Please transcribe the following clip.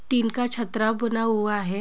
Tin का छात्राव बना हुआ है।